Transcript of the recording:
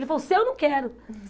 Ele falou, seu eu não quero.